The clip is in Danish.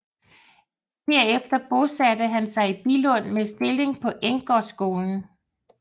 Herefter bosatte han sig i Billund med stilling på Enggårdsskolen